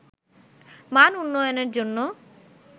মান উন্নয়নের জন্য